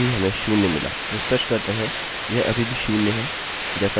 refresh करते हैं यह अभी भी शून्य है जैसा यहाँ दिख रहा है